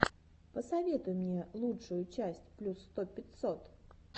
посоветуй мне лучшую часть плюс сто пятьсот